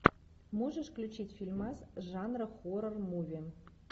можешь включить фильмас жанра хоррор муви